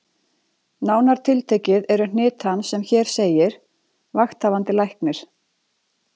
Nánar tiltekið eru hnit hans sem hér segir: Vakthafandi Læknir